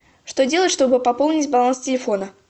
что делать чтобы пополнить баланс телефона